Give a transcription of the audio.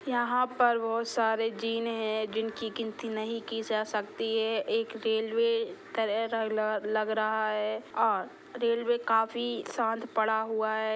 यहाँ पर बहोत सारे जीन है जिनकी गिनती नहीं की जा सकती है एक रेलवे लग रहा है और रेलवे काफी शांत पडा हुआ है।